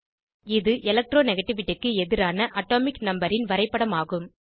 இது எலக்ட்ரானிகேட்டிவிட்டி க்கு எதிரான அட்டோமிக் நம்பர் ன் வரைப்படமாகும்